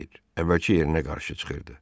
Əvvəlki yerinə qarşı çıxırdı.